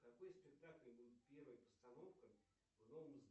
какой спектакль был первой постановкой